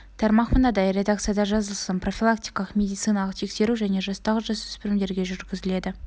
тармақ мынадай редакцияда жазылсын профилактикалық медициналық тексеру және жастағы жасөспірімдерге жүргізіледі